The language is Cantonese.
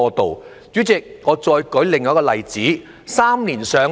代理主席，我再舉另一個例子——"三年上樓"。